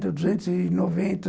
No duzentos e noventa.